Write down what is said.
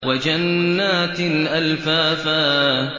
وَجَنَّاتٍ أَلْفَافًا